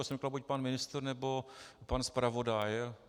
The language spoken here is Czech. Já jsem říkal: buď pan ministr, nebo pan zpravodaj.